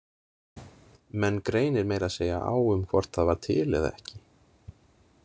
Menn greinir meira að segja á um hvort það var til eða ekki.